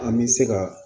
An bɛ se ka